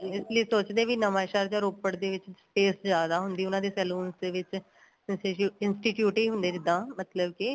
ਇਸ ਲਈ ਸੋਚਦੀ ਆ ਬੀ ਨਵਾ ਸ਼ਹਿਰ ਜਾਂ ਰੋਪੜ ਦੇ ਵਿੱਚ sales ਜਿਆਦਾ ਹੁੰਦੀ ਏ ਉਹਨਾ ਦੇ saloon ਦੇ ਵਿੱਚ institute ਈ ਹੁੰਦੇ ਜਿੱਦਾਂ ਮਤਲਬ ਕੇ